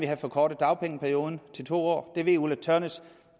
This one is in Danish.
have forkortet dagpengeperioden til to år det ved fru ulla tørnæs